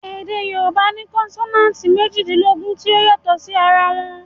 Èdè Yorùbá ní konsonanti méjìdínlógún tí ó yàtò sí ara wọn